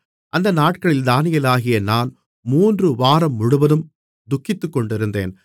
அந்த நாட்களில் தானியேலாகிய நான் மூன்று வாரம்முழுவதும் துக்கித்துக்கொண்டிருந்தேன்